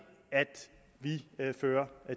at vi fører